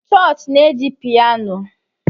chọọchị na-eji piano